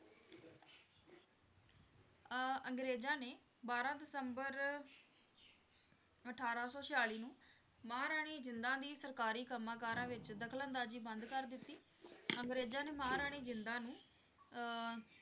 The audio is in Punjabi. ਅਹ ਅੰਗਰੇਜ਼ਾਂ ਨੇ ਬਾਰਾਂ ਦਸੰਬਰ ਅਠਾਰਾਂ ਸੌ ਛਿਆਲੀ ਨੂੰ ਮਹਾਰਾਣੀ ਜਿੰਦਾ ਦੀ ਸਰਕਾਰੀ ਕੰਮਾਂ ਕਾਰਾਂ ਵਿੱਚ ਦਖ਼ਲ ਅੰਦਾਜ਼ੀ ਬੰਦ ਕਰ ਦਿੱਤੀ ਅੰਗਰੇਜ਼ਾਂ ਨੇ ਮਹਾਰਾਣੀ ਜਿੰਦਾਂ ਨੂੰ ਅਹ